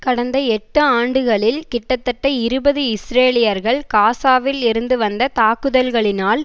கடந்த எட்டு ஆண்டுகளில் கிட்டத்தட்ட இருபது இஸ்ரேலியர்கள் காசாவில் இருந்து வந்த தாக்குதல்களினால்